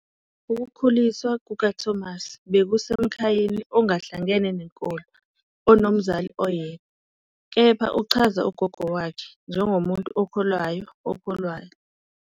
Ukukhuliswa kukaThomas bekusemkhayeni ongahlangene nenkolo, onomzali oyedwa, kepha uchaza ugogo wakhe njengomuntu "okholwayo okholwayo".